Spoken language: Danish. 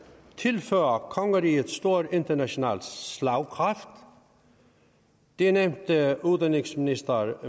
tilfører kongeriget stor international slagkraft det nævnte udenrigsministeren